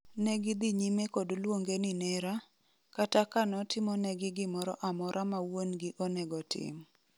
Negidhi nyime kod luonge ni nera, kata ka notimonegi gimoro amora mawuongi onego tim.